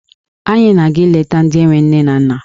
Anyị na-aga ileta ndị enwe nne na nna.